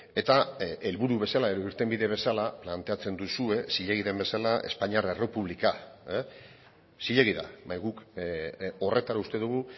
eta helburu bezala edo irtenbide bezala planteatzen duzue zilegi den bezala espainiar errepublika zilegi da bai guk horretan uste dugu